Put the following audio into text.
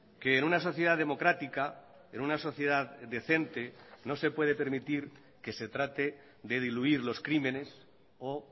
que en una sociedad democrática en una sociedad decente no se puede permitir que se trate de diluir los crímenes o